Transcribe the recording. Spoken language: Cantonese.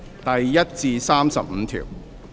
第1至35條。